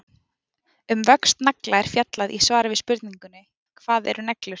Um vöxt nagla er fjallað í svari við spurningunni Hvað eru neglur?